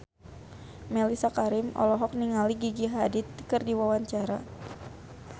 Mellisa Karim olohok ningali Gigi Hadid keur diwawancara